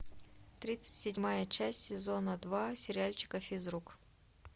тридцать седьмая часть сезона два сериальчика физрук